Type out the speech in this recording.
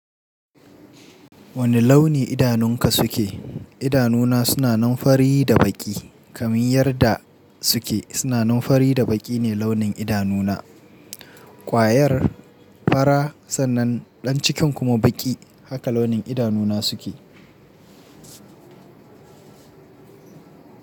Wane launi idanunka suke? Idanuna suna nan fari da baƙi. Kamin yarda suke, suna nan fari da baƙi ne launin idanuna. Kwayar fara sannan ɗan cikin kuma baƙi, haka launin idanuna suke.